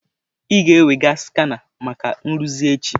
Ị ga-ewega skana maka nrụzi echi.